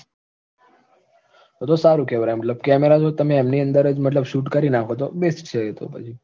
તો તો સારું કહેવાય આમ camera તો તમે એમની અંદર જ મતલબ shoot કરી નાખો તો best છે એ તો પછી